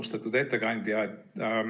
Austatud ettekandja!